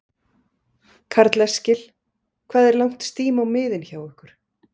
Karl Eskil: Hvað er langt stím á miðin hjá ykkur?